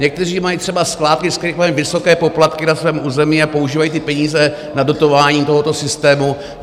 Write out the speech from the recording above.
Někteří mají třeba skládky, z kterých mají vysoké poplatky na svém území a používají ty peníze na dotování tohoto systému.